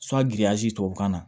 tubabukan na